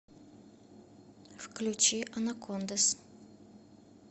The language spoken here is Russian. включи анакондаз